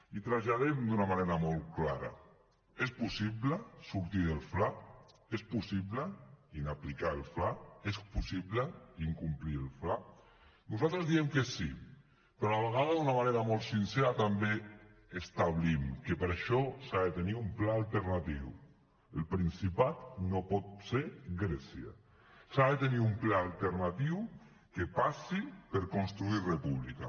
i traslladem d’una manera molt clara és possible sortir del fla és possible inaplicar el fla és possible incomplir el fla nosaltres diem que sí però a la vegada d’una manera molt sincera també establim que per això s’ha de tenir un pla alternatiu el principat no pot ser grècia s’ha de tenir un pla alternatiu que passi per construir república